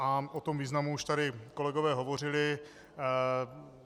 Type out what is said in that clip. A o tom významu už tady kolegové hovořili.